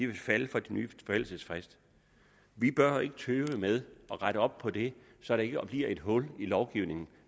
vil falde for den nye forældelsesfrist vi bør ikke tøve med at rette op på det så der ikke bliver et hul i lovgivningen